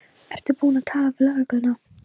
Ertu búin að tala við lögregluna?